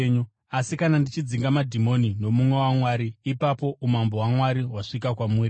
Asi kana ndichidzinga madhimoni nomunwe waMwari, ipapo umambo hwaMwari hwasvika kwamuri.